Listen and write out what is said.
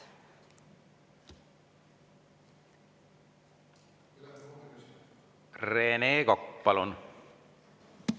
Rene Kokk, palun!